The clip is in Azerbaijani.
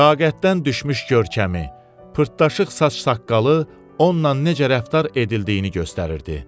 Taqətdən düşmüş görkəmi, pırtaşıq saç-saqqalı onunla necə rəftar edildiyini göstərirdi.